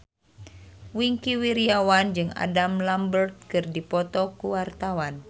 Wingky Wiryawan jeung Adam Lambert keur dipoto ku wartawan